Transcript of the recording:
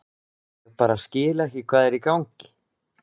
Ég bara skil ekki hvað er í gangi.